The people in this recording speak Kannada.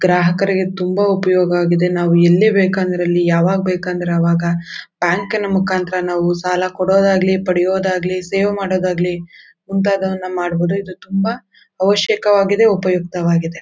ಗ್ರಾಹಕರಿಗೆ ತುಂಬ ಉಪಯೋಗ ಆಗಿದೆ ನಾವು ಎಲ್ಲಿ ಬೇಕಾದ್ರೂ ಅಲ್ಲಿ ಯಾವಾಗ್ ಬೇಕಂದ್ರೆ ಅವಾಗ ಬ್ಯಾಂಕ್ ಮುಕಾಂತರ ನಾವು ಸಾಲ ಕೊಡದಾಗಲಿ ಪಡಿಯಾದಾಗಲಿ ಸೇವ್ ಮಾಡುವುದಾಗಲಿ ಮುಂತಾದವನ್ನು ಮಾಡಬಹುದು ಇದು ತುಂಬ ಅವಶ್ಯವಾಗಿದೆ ಉಪಯುಕ್ತವಾಗಿದೆ.